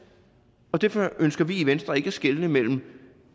og derfor ønsker vi i venstre ikke at skelne mellem